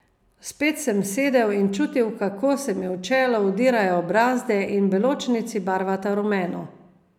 Spet sem sedel in čutil, kako se mi v čelo vtirajo brazde in beločnici barvata rumeno.